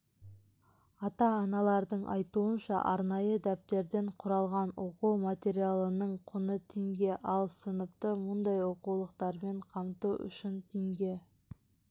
ата-аналардың айтуынша арнайы дәптерден құралған оқу материалының құны теңге ал сыныпты мұндай оқулықтармен қамту үшін теңге